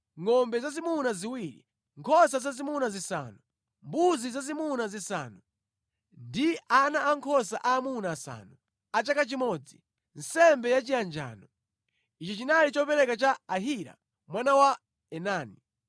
ngʼombe zazimuna ziwiri, nkhosa zazimuna zisanu, mbuzi zazimuna zisanu, ndi ana ankhosa aamuna asanu a chaka chimodzi, nsembe yachiyanjano. Ichi chinali chopereka cha Ahira mwana wa Enani.